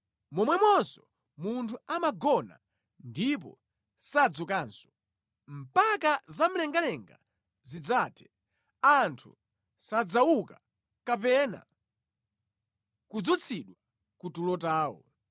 momwemonso munthu amagona ndipo sadzukanso; mpaka zamlengalenga zidzathe, anthu sadzauka kapena kudzutsidwa ku tulo tawo.